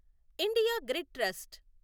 India Grid trust